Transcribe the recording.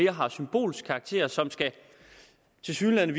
har symbolsk karakter og som tilsyneladende